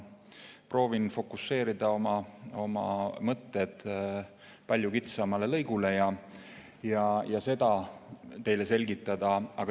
Proovin fokuseerida oma mõtted palju kitsamale lõigule ja seda teile selgitada.